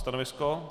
Stanovisko -